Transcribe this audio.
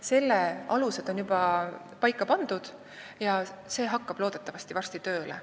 Selle alused on juba paika pandud ja loodetavasti hakkab see varsti tööle.